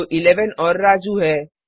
जो 11 और राजू है